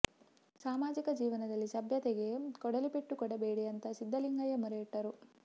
ಸಾಮಾಜಿಕ ಜೀವನದಲ್ಲಿ ಸಭ್ಯತೆಗೆ ಕೊಡಲಿ ಪೆಟ್ಟು ಕೊಡಬೇಡಿ ಅಂತ ಸಿದ್ದಲಿಂಗಯ್ಯ ಮೊರೆಯಿಟ್ಟರು